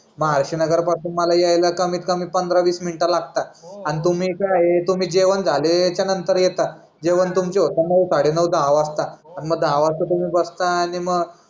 मग आळशी नगरा पासून माला येईला कमीत कमी पांदरा वीस मिनिटं लागतात आणि तुम्ही काय आहे जेवण झाल्याच्या नंतर येता जेवण तुमची होता साडे नऊ दहा वाजतात मग दहा वाजता तुम्ही बस्ता आणि मग